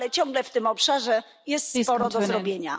Ale ciągle w tym obszarze jest sporo do zrobienia.